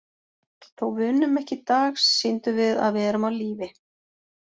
Þó við unnum ekki í dag, sýndum við að við erum á lífi.